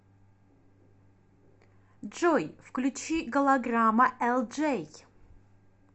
джой включи голограмма элджей